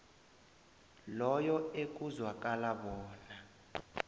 loyo ekuzwakala bona